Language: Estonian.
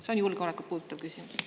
See on julgeolekut puudutav küsimus.